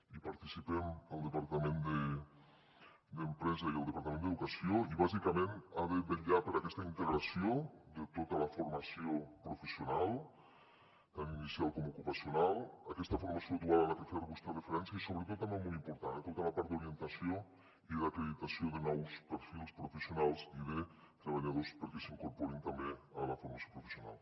hi participem el departament d’empresa i el departament d’educació i bàsicament ha de vetllar per aquesta integració de tota la formació professional tant inicial com ocupacional aquesta formació dual a la que feia vostè referència i sobretot per un tema molt important tota la part d’orientació i d’acreditació de nous perfils professionals i de treballadors perquè s’incorporin també a la formació professional